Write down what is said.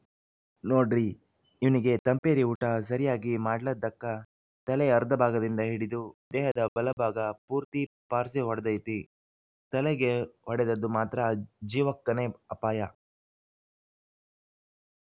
ನೋಡ್ರೀ ಇವ್ನಿಗೆ ತಂಪೇರಿ ಊಟ ಸರಿಯಾಗಿ ಮಾಡ್ಲದ್ದಕ್ಕ ತಲೆಯ ಅರ್ಧಭಾಗದಿಂದ ಹಿಡಿದು ದೇಹದ ಬಲಭಾಗ ಪೂರ್ತಿ ಪಾರ್ಸಿ ಹೊಡ್ದೈತಿ ತಲೆಗೆ ಹೊಡೆದದ್ದು ಮಾತ್ರ ಜೀವಕ್ಕನೇ ಅಪಾಯ